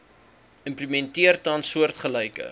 implementeer tans soortgelyke